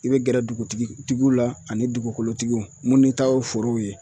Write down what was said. I bɛ gɛrɛ dugutigi tigiw la ani dugukolotigiw munnu ta ye forow ye